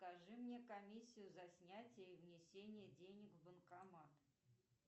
скажи мне комиссию за снятие и внесение денег в банкомат